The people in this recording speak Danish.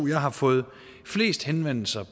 jeg har fået flest henvendelser